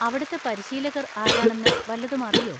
അവിടുത്തെ പരിശീലകർ ആരാണെന്ന് വല്ലതും അറിയോ?